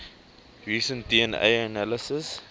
recent dna analysis